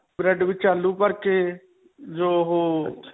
bread ਵਿੱਚ ਆਲੂ ਭਰ ਕੇ .